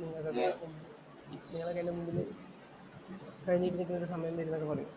നിങ്ങളൊക്കെ എന്‍റെ മുമ്പില് കൈനീട്ടി നില്‍ക്കണ ഒരു സമയം വരും എന്നൊക്കെ പറയും.